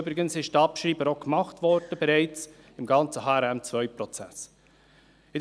Die Abschreibung wurde übrigens bereits im ganzen HRM2-Prozess gemacht.